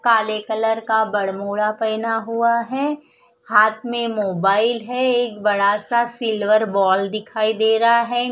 काले कलर का ब्दमोदा पहना हुआ है हाथ में मोबाइल है एक बड़ा सा सिल्वर बॉल दिखाई दे रहा है।